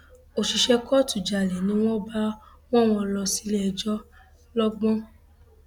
òṣìṣẹ kóòtù jalè ni wọn bá wọ wọn lọ síléẹjọ lọgbọn